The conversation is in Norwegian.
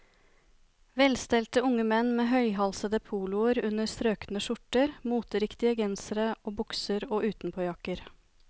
Velstelte unge menn med høyhalsede poloer under strøkne skjorter, moteriktige gensere og bukser og utenpåjakker.